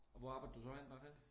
Og hvor arbejdede du så henne?